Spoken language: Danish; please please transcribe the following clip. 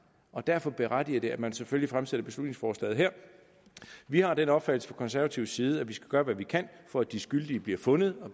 og derfor berettiger det til at man selvfølgelig fremsætter beslutningsforslaget her vi har den opfattelse fra konservativ side at vi skal gøre hvad vi kan for at de skyldige bliver fundet og